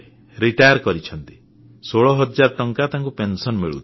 ଅବସର ନେଇଛନ୍ତି 16 ହଜାର ଟଙ୍କା ତାଙ୍କୁ ପେନସନ ମିଳୁଛି